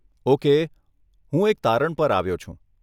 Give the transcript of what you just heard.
Okay હું એક તારણ પર આવ્યો છું.